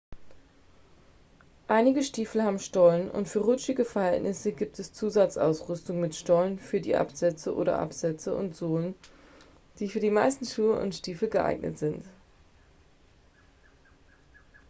einige stiefel haben stollen und für rutschige verhältnisse gibt es zusatzausrüstung mit stollen für die absätze oder absätze und sohle die für die meisten schuhe und stiefel geeignet sind